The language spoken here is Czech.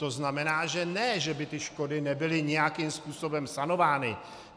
To znamená, že ne že by ty škody nebyly nějakým způsobem sanovány.